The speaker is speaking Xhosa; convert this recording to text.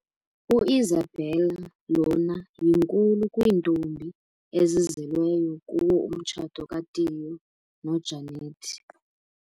u-Isabella lona yinkulu kwintombi ezizelelwe kuwo umtshato ka Tiyo no Janet.